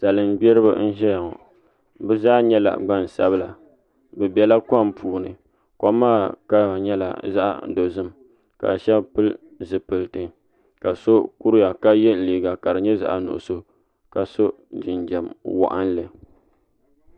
Salin gbiribi n ʒiya ŋo bi zaa nyɛla gban sabila bi biɛla kom puuni kom maa kama nyɛla zaɣ dozim ka shab pili zipiliti ka so kuriya ka yɛ liiga ka di nyɛ zaɣ nuɣso ka so jinjɛm waɣanli